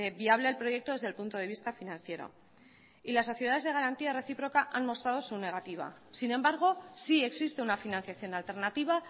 viable el proyecto desde el punto de vista financiero y las sociedades de garantía reciproca han mostrado su negativa sin embargo sí existe una financiación alternativa